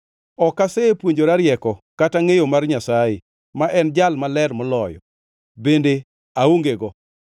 Ok asepuonjora rieko, kata ngʼeyo mar Nyasaye, ma en Jal Maler Moloyo, bende aongego.